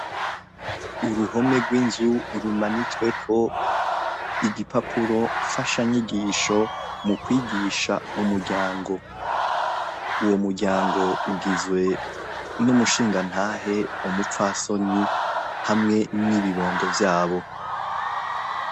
Uruhome rw'inzu rumanitsweko igipapuro mfasha nyigisho mu kwigisha umuryango. Uwo muryango ugizwe n'umushingantahe ,umupfasoni, hamwe n'ibibondo vyabo.